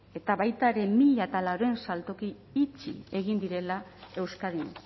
eta baita ere mila laurehun saltoki itxi egin direla euskadin